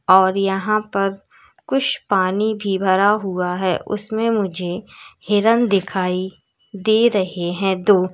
और यहां पर कुछ पानी भी भरा हुआ है उसमें मुझे हिरण दिखाई दे रहे हैं दो--